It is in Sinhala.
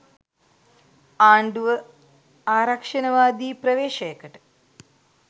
ආණ්ඩුව ආරක්‍ෂණවාදී ප්‍රවේශයකට